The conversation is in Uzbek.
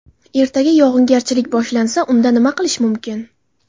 Ertaga yog‘ingarchilik boshlansa, unda nima qilish mumkin?